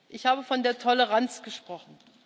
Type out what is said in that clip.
Ich habe von der Toleranz gesprochen.